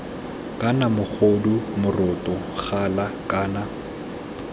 kana mogodu moroto gala kana